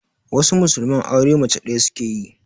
Wasu musulman aure mace ɗaya suke yi.